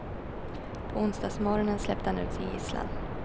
På onsdagsmorgonen släppte han ut sin gisslan.